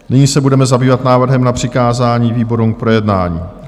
Nyní se budeme zabývat návrhem na přikázání výborům k projednání.